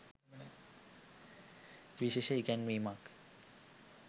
විශේෂ ඉගැන්වීමක්